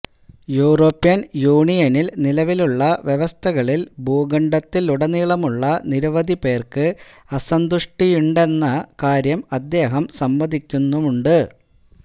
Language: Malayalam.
യൂറോപ്യൻ യൂണിയനിൽ നിലവിലുള്ള വ്യവസ്ഥകളിൽ ഭൂഖണ്ഡത്തിലുടനീളമുള്ള നിരവധി പേർക്ക് അസന്തുഷ്ടിയുണ്ടെന്ന കാര്യം അദ്ദേഹം സമ്മതിക്കുന്നുമുണ്ട്